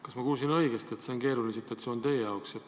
Kas ma kuulsin õigesti, et see on keeruline situatsioon teie jaoks?